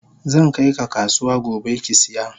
Zankai ka kasuwa gobe kisiya.